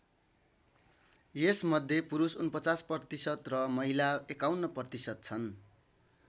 यसमध्ये पुरुष ४९% र महिला ५१% छन्।